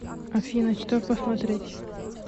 афина что посмотреть